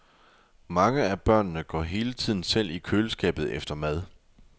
Mange af børnene går hele tiden selv i køleskabet efter mad.